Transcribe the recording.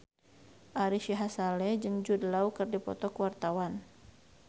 Ari Sihasale jeung Jude Law keur dipoto ku wartawan